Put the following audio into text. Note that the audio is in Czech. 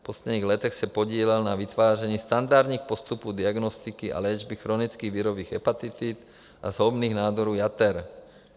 V posledních letech se podílel na vytváření standardních postupů diagnostiky a léčby chronických virových hepatitid a zhoubných nádorů jater.